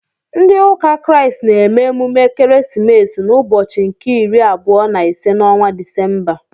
Ndị ụka Kraịst na-eme emume ekeresimesi n'ụbọchị nke iri abụọ na ise n'ọnwa Disemba.